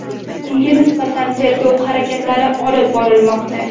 Unga nisbatan tergov harakatlari olib borilmoqda.